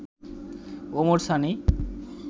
Omar Sunny